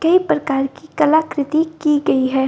कई प्रकार की कलाकृति की गई है।